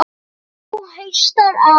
Nú haustar að.